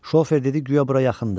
Şofer dedi guya bura yaxındır.